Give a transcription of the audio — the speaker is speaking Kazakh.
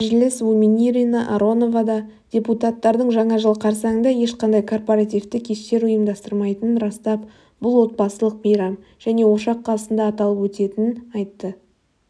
мәжілісвуменирина аронова да депутаттардың жаңа жыл қарсаңында ешқандай корпаративті кештер ұйымдастырмайтынын растап бұл отбасылық мейрам және ошақ қасында аталып өтетінін айтты